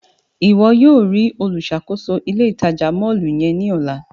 Iwọ yóò rii oluṣakoso ile-itaja mọllu yẹn ni ọla!